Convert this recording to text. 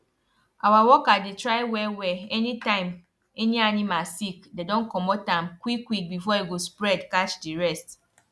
our worker dey try wellwell any time any animal sick dey don comot am quickquick before e go spread catch di rest